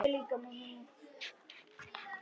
Þeir voru fjórir saman.